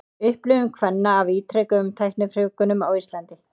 Upplifun kvenna af ítrekuðum tæknifrjóvgunum á Íslandi.